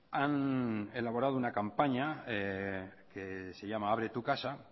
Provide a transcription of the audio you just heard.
han elaborado una campaña que se llama abre tu casa